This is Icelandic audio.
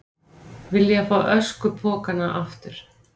Vilja fá öskupokana aftur